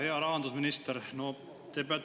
Hea rahandusminister!